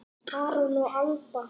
Aron og Alba.